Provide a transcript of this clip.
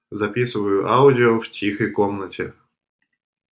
записываю аудио в тихой комнате